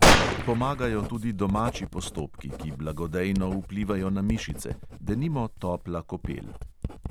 Pomagajo tudi domači postopki, ki blagodejno vplivajo na mišice, denimo topla kopel.